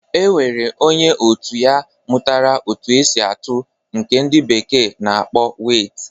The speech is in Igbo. E nwere onye otu ya mụtara otu esi atụ nke ndị bekee na-akpọ weit.